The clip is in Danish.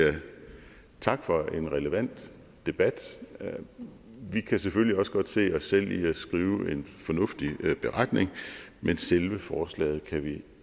tak for en relevant debat vi kan selvfølgelig også godt se os selv i at skrive en fornuftig beretning men selve forslaget kan vi